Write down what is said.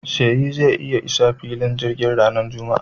Seyi zai isa filin jirgin ranar Juma'a.